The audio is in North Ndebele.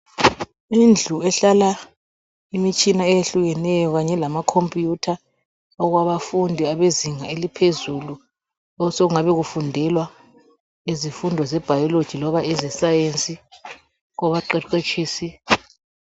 indlu ehlala imitshina eyehlukeneyo kanye lama computer okwabafundi abezinga eliphezulu okusengani kufundelwa izimfundo ze biology loba ezesayensi kwabaqheqetshisi